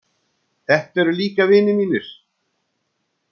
Þetta eru líka vinir mínir.